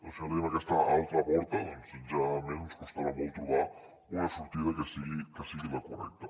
per això tenim aquesta altra porta generalment ens costarà molt trobar una sortida que sigui la correcta